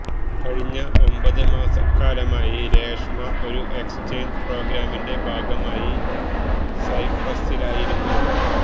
കഴിഞ്ഞ ഒമ്പത് മാസക്കാലമായി രേഷ്മ ഒരു എക്സേഞ്ച് പ്രോഗ്രാമിന്റെ ഭാഗമായി സൈപ്രസിലായിരുന്നു